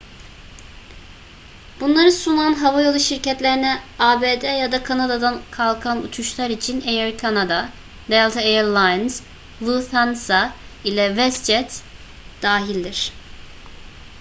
bunları sunan havayolu şirketlerine abd ya da kanada'dan kalkan uçuşlar için air canada delta air lines lufthansa ile westjet dahildir